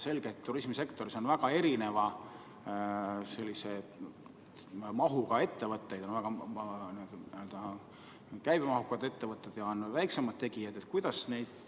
Selge, et turismisektoris on väga erineva mahuga ettevõtteid, on käibemahukad ettevõtted ja on väiksemad tegijad.